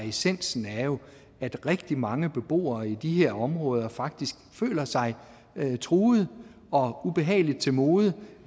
essensen er jo at rigtig mange beboere i de her områder faktisk føler sig truede og ubehageligt til mode